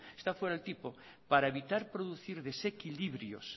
está fuera el tipo para evitar producir desequilibrios